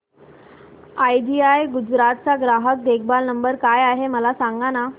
idea Gujarat चा ग्राहक देखभाल नंबर काय आहे मला सांगाना